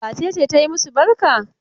Wace ce ta yi masu barka?